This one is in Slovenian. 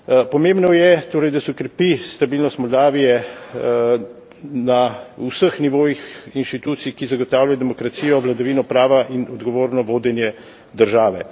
Pomembno je torej, da se okrepi stabilnost Moldavije na vseh nivojih institucij, ki zagotavljajo demokracijo, vladavino prava in odgovorno vodenje države.